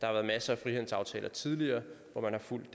har været masser af frihandelsaftaler tidligere hvor man har fulgt